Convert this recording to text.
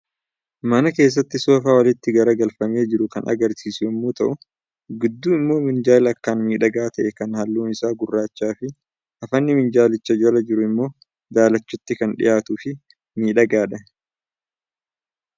Mana keessatti soofaa walitti gaggaragalfamee jiru ka agarsiisu yommuu ta'u, gidduu immoo minjaala akkaan miidhagaa ta'e, kan Halluun isaa gurraachaa fi hafanni minjaalicha jala jiru immoo daalachatti kan dhiyaatuu fi miidhagaadha.